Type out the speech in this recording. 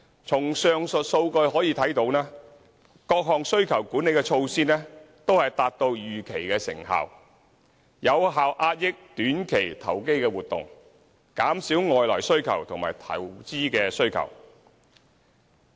從上述數據可見，各項需求管理措施都達到預期的成效，有效遏抑短期投機活動、減少外來需求和投資需求。